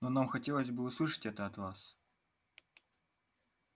но нам хотелось бы услышать это от вас